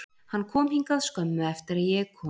Hann kom hingað skömmu eftir að ég kom,